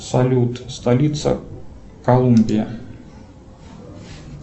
салют столица колумбия